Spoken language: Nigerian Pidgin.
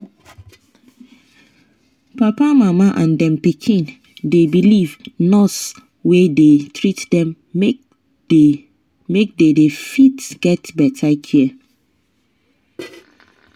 papa mama and dem pikin dey believe nurse wey dey treat them make they they fit get better care